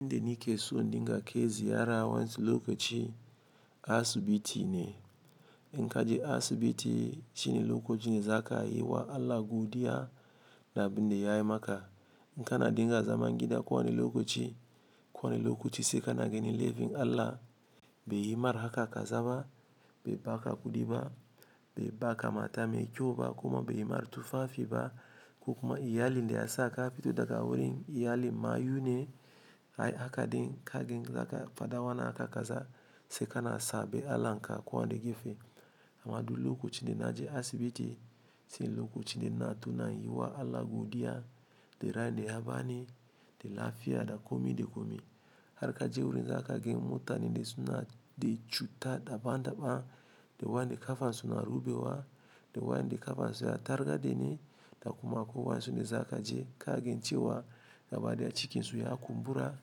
Inde ni ke so ɗinga ke ziyara waensi lokaci asibiti ne. In kaja asibiti ci ni lokaci ne za ka yi wa Allah godiya da binde yai maka. In kana dinga zaman gida ko wani lokaci, ko wani lokaci sai ka nageni laifin Allah. Be yi mar haka ka zaba, be ba ka godi ba, be ba ka mata mai kyau ba kuma be yi mar tufafi ba. Ko kuma iyali inde asaka fitoda ka wurin iyali mayu ne. Ai kagan in zaka fada wannan haka kaza, sai kana sabin Allah'n ka ko wani gefe amma du lokaci inde na je asibiti shi ne lokaci inde na tuna yi wa Allah godiya de rai inde ya bani de lafiya da komi de komi. Har ka je wurin zaka gan mutane de suna de cuta daban daban, de wande kafan suna rubewa, de wande kafan suna targa dini. Da kuma ko wansi inde za ka je ka gen ciwa gaba de a cikin su ya kumbura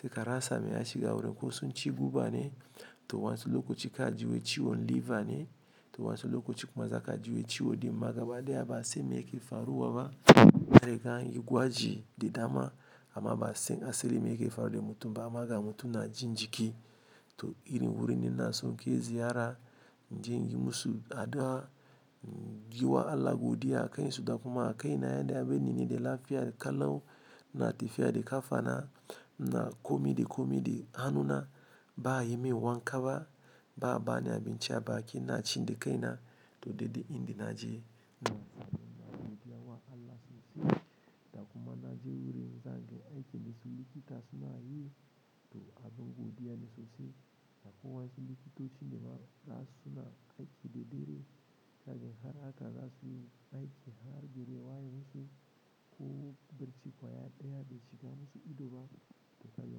sai ka rasa mai a shiga wurin ko sun ci guba ne. To waensu lokaci ka ji wai ciwon liver ne. To waensu lokaci kuma za ka ji wa ciwo ɗin ma gaba de ya ba san meke faruwa ba. Kai de kana yin gwaji de dama amma ba sai asali meke faruwa da mutum ba amma ga mutum na jin jiki. To irin wurin inde na so ke ziyara, in je in yi musu addu'a, yi wa Allah godiya, kai su da kuma a kai na yanda ya bani nini de lafiya da kalon ina tafiya de kafana ina komi de komi de hannuna ba yi min wanka ba. Ba bani abin ci a baki ina cin de kai na. To dai duk inda naje da kuma na je wurin za gen aiki ni su likita suna yi. Duk abinda bi iya ba sosai da ko wansi likitoci nema rasa suna aiki de dare. Sa gen har haka rasa suna aiki har dare waye musu. Ko bacci gaba daya bai shiga musu ido ba. To kaga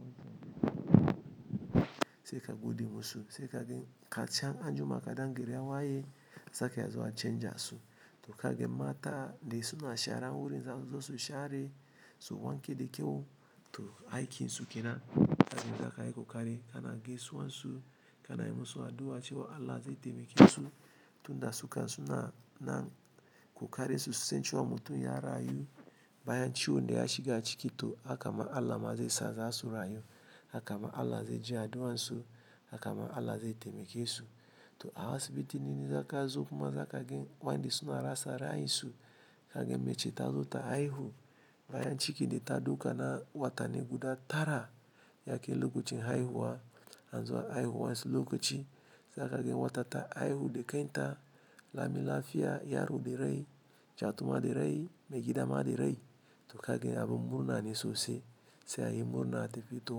wanci sai ka gode musu. Sai ka gen kachan anjima kaɗan gari ya waye, sake a zo a canja su. To ka ga mata da suna shara wurin za su zo su share su wanke de kyau. To aiki su ke nan. Ka gen zaka yi kokari ka na gaisuwa su, ka na yi musu addu'a cewa Allah zai taimake su tun da suka suna nan. Ku kare su sai su canza wa mutum ya rayu bayan ciwon de ya shiga ciki. To haka ma Allah ma zai sa za su rayu. Haka ma Allah zai ji addu'an su. Haka ma Allah zai taimake su. To asibiti nini za ka zo kuma za ka gen wani de suna rasa rai su. Ka gen mece ta zo ta haihu bayan ciki de ta duka na watanni guda tara yake lokacin haihuwa. An zo haihu wansu lokaci. Kagani wata ta haihu da kanta lami lafiya yaro da rai gaitima da rai abu ma da rai to kaga abu murna ne sosai sai a yi murna da tafiya. To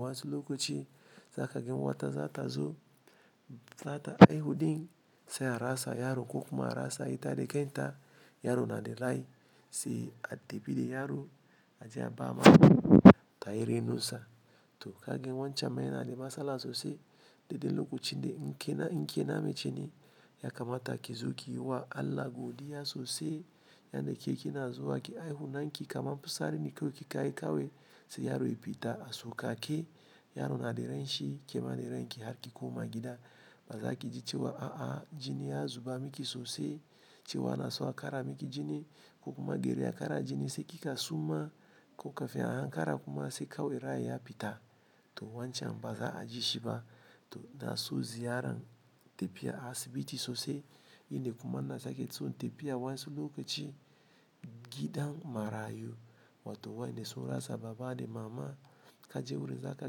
wansi lokaci za ka ga wata za ta zo, ta sata haihu din sai a rasa yaro ko kuma a rasa ita de kaita. Yaro na de rai sai a ɗebi de yaro ajiya ba ma ta ire nusa. To ka gen wancan maina de masala sosai. Dedde lokaci inde in ke na, in ke na mece ne. Yakamata kizo ki yiwa allah godiya sosai. Yanda ke ki na zo ke haihu nan ki kama fusari ni ko ki ka yi kawe. Sai yaro ya bi ta a so ka ke. Yaro na de rai shi, ke ma de rai ki har ki koma gida. Ba za ki ji cewa a'a jini ya zuba miki sosai. Cewa na so a kara miki jini ko kuma garin a kara jini sai kika suma ko ka fiya hankara kuma sai ka waira ya bi ta. To wancan ba za a ji shi ba. To na so ziyaran tafiya asibiti sosai. Inde kuma na sake tson tafiya wansi lokaci gidan marayu. Wato wanda sun rasa baba da mama. Ka je wurin za ka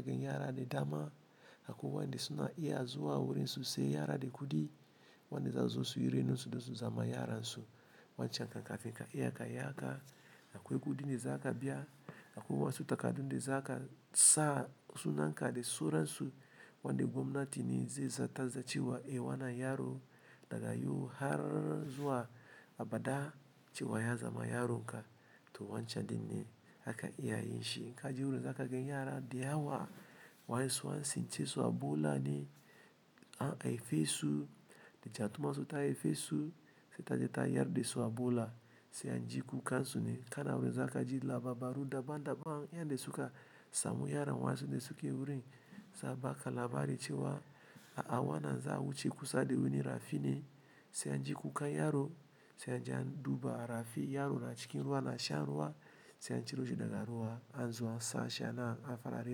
gen yara de dama. Akwai wayanda suna iya zuwa wurin su saya yara. Da kudin wanda za su zo suyi rainan su, da su zama yaran su. Wancan haka haka ke ka iya ka yaka. Akwai gudi de za ka biya. Akwai wasu takardu de za ka sa suna ka de sunan su. Wanda gwamnati ne zai sata za ciwa iwana yaro daga yu har zuwa a bada cewa ya zama yaron ka. To wancan din ne haka iya yin shi. In kaji wurin za ka gen yara de awa wansi wansi ce su Ebola ne. An haife su da jatumar su ta haife su sai ta je ta yar de su Ebola. Sai an ji kukan su ne. Kana wurin za ka ji labaru daban daban. Yanda suka samu yaran wansi de suke wurin. Za ba ka labari cewa a'a wana za a wuce kusa de wani rafi ne. Sai an ji kukan yaro. Sai an ji an duba rafi yaro na cikin ruwa na shan ruwa. Sai an ciro shi daga ruwa an zo an sa shi a nan a fara ci.